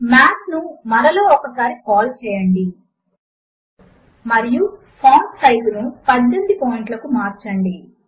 మాత్ ను మరలా ఒకసారి కాల్ చేయండి మరియు ఫాంట్ ను 18 పాయింట్ లకు మార్చండి